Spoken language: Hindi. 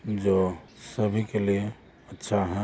जो सभी के लिए अच्छा है।